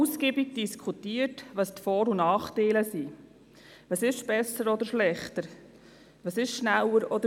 Das Beispiel aus Burgdorf ist bereits genannt worden.